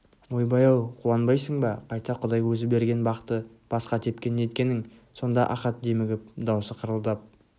ойбай-ау қуанбайсың ба қайта құдай өзі берген бақты басқа тепкен неткенің сонда ахат демігіп даусы қырылдап